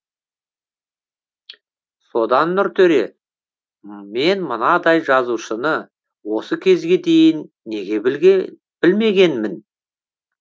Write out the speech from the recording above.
содан нұртөре мен мынандай жазушыны осы кезге дейін неге білмегенмін